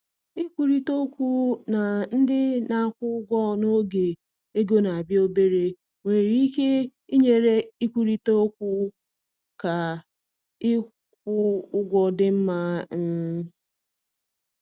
Ikwurịta okwu na ndị na-akwụ ụgwọ n’oge ego na-abịa obere nwere ike inyere ịkwurịta okwu ka ịkwụ ụgwọ dị mma. um